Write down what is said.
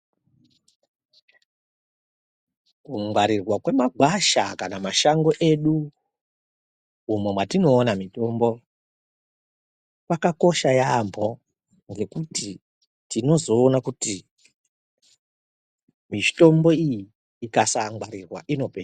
Kungwarirwa kwemakwasha kana mashango edu umwo mwatinoona mitombo kakakosha yambo ngekuti tinozoona kuti mitombo iyi akasangwarirwa inopera.